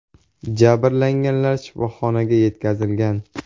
Jabrlanganlar shifoxonaga yetkazilgan.